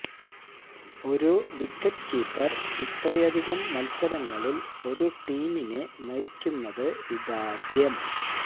ഒരു wicket keeper ഇത്രയധികം മത്സരങ്ങളില് ഒരു ടീമിനെ നയിക്കുന്നത് ഇതാദ്യം